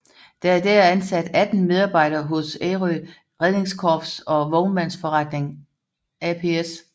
Der er i dag ansat 18 medarbejdere hos Ærø Redningskorps og Vognmandsforretning ApS